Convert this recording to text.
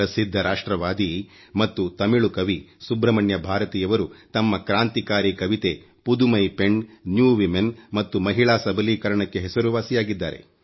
ಪ್ರಸಿಧ್ಧ ರಾಷ್ಟ್ರವಾದಿ ಮತ್ತು ತಮಿಳು ಕವಿ ಸುಬ್ರಮಣ್ಯ ಭಾರತಿ ಯವರು ತಮ್ಮ ಕ್ರಾಂತಿಕಾರಿ ಕವಿತೆ ಪುದುಮೈ ಪೆಣ್ ನ್ಯೂ ವಿಮೆನ್ ಮತ್ತು ಮಹಿಳಾ ಸಬಲೀಕರಣಕ್ಕೆ ಹೆಸರುವಾಸಿಯಾಗಿದ್ದಾರೆ